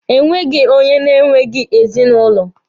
E nweghi onye na-enweghi ezinụlọ.